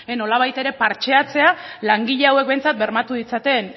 nolabait ere partxeatzea langile hauek behintzat bermatu ditzaten